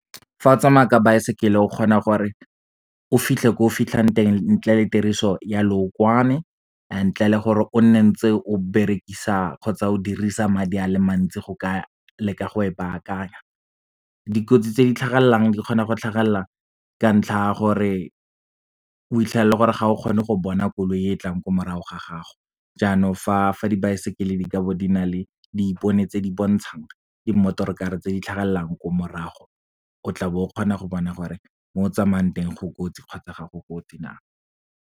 Fa o tsamaya ka baesekele o kgona gore o fitlhe ko o fitlhang teng ntle le tiriso ya lookwane, ntle le gore o nne ntse o berekisa kgotsa o dirisa madi a le mantsi go ka leka go e bakanya. Dikotsi tse di tlhagelelang di kgona go tlhagelela ka ntlha ya gore, o itlhela e le gore ga o kgone go bona koloi e e tlang ko morago ga gago. Janong fa dibaesekele di kabo di na le diipone tse di bontshang di-motorkarre tse di tlhagelelang ko morago, o tla bo o kgona go bona gore mo o tsamayang teng go kotsi, kgotsa gago go kotsi na.